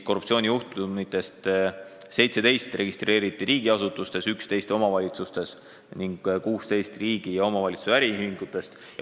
Korruptsioonijuhtumitest 17 registreeriti siis riigiasutustes, 11 omavalitsustes ning 16 riigi ja omavalitsuse äriühingutes.